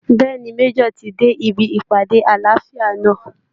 Bẹ́ẹ̀ ni, Major ti dé ibi ìpàdé àlàáfíà náà